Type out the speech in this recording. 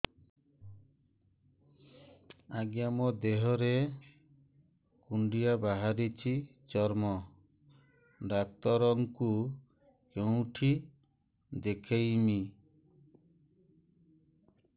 ଆଜ୍ଞା ମୋ ଦେହ ରେ କୁଣ୍ଡିଆ ବାହାରିଛି ଚର୍ମ ଡାକ୍ତର ଙ୍କୁ କେଉଁଠି ଦେଖେଇମି